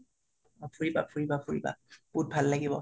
অ ফুৰিবা ফুৰিবা ফুৰিবা বাহুত ভাল লাগিব